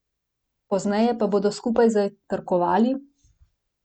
Pozneje pa bodo skupaj zajtrkovali?